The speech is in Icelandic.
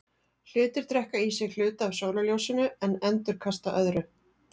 Hlutir drekka í sig hluta af sólarljósinu en endurkasta öðru.